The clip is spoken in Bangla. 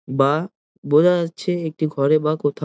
বা বোঝা যাচ্ছে একটি ঘরে বা কোথাও।